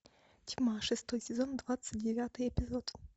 тьма шестой сезон двадцать девятый эпизод